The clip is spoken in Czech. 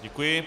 Děkuji.